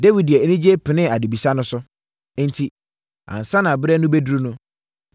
Dawid de anigyeɛ penee adebisa no so. Enti ansa na berɛ no bɛduru no,